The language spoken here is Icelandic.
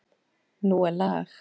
Nú er lag!